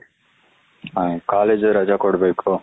ಹ ಕಾಲೇಜ್ ಹು ರಾಜಾ ಕೊಡಬೇಕು ,